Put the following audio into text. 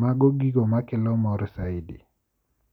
Mago gigo makelo mor saidi.